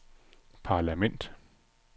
parlament